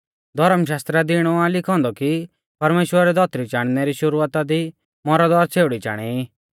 धौर्म शास्त्रा दी इणौ आ लिखौ औन्दौ कि परमेश्‍वरै धौतरी चाणनै री शुरुआता दी मौरद और छ़ेउड़ी चाणै ई